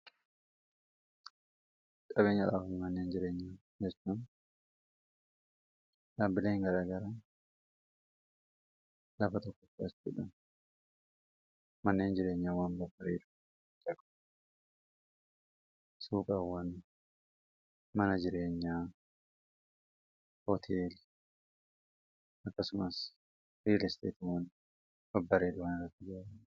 qabeenya laawwan manneen jireenyaa jastan dhaabbileen garaa gara lafa tokkoksbdhan manneen jireenyaa waan babbareedu cagu suupaawwan mana jireenyaa hooteel akkasumaas riil isteetiwwan babbareera waan irratti jar